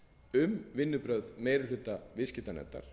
um vinnubrögð meiri hluta viðskiptanefndar